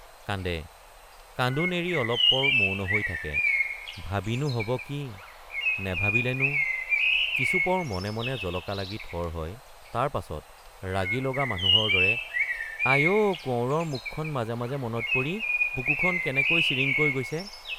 কান্দে কান্দোন এৰি অলপ পৰ মৌন হৈ থাকে ভাবিনো হব কি নেভাবিলেনো কিছুপৰ মনে মনে জলকা লাগি থৰ হয় তাৰ পাছত ৰাগি লগা মানুহৰ দৰে আই অ কোঁৱৰৰ মুখখন মাজে মাজে মনত পৰি বুকুখন কেনেকৈ চিৰিংকৈ গৈছে।